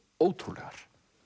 ótrúlegar